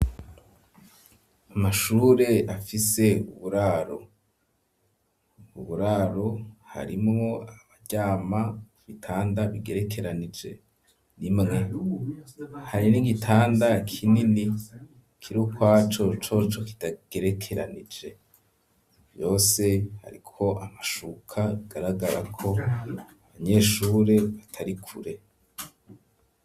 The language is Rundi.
Amashure afise uburaro ,uburaro harimwo abaryama, ibitanda bigerekeranije, rimwe, hari n'igitanda kinini kiri ukwaco, coco kidagerekeranije ,hose hariko amashuka ,bIgaragara ko abanyeshure batari kure.